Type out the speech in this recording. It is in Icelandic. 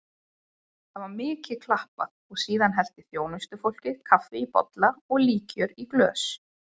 Það var mikið klappað og síðan hellti þjónustufólkið kaffi í bolla og líkjör í glös.